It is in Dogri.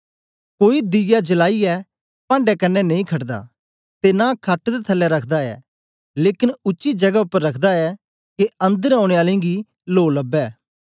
कोई दीया जलाईयै पांढे कन्ने नेई खटदा ते नां खट दे थलै रखदा ऐ लेकन उच्ची जगै उपर रखदा ऐ के अन्दर औने आलें गी लो लबै